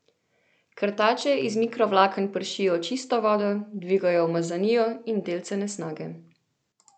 Krtače iz mikrovlaken pršijo čisto vodo, dvigajo umazanijo in delce nesnage.